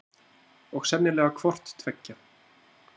Og sennilega hvort tveggja.